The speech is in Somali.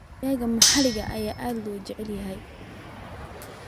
Digaagga maxalliga ah ayaa aad loo jecel yahay.